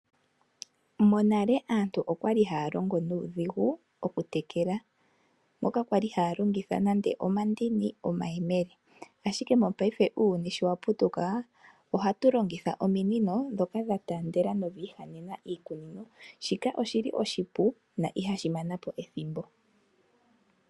Monale aantu okwali haya longo nuudhigu okutekela moka kwali haya longitha nande omandini nande omayemele, ashike mopaife uuyuni showaputuka ohatu longitha ominino dhoka dhataandela na odhiihanyena iikunino. Shika oshili oshipu na ihashi mana po ethimbo.